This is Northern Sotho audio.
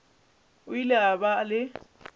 o ile a ba le